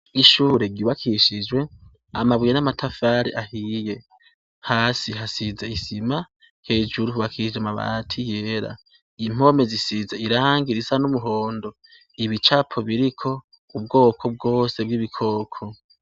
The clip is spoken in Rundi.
Ishure ryubakishijwe amabuye n'amatafari ahiye, hasi hasize isima, hejuru hubakishije amabati yera, impome zisize irangi risa n'umuhondo, ibicapo biriko ubwoko bwose bw'ibikoko.